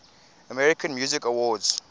american music awards